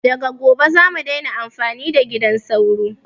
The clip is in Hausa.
Daga gobe zamu daina amfani da gidan sauro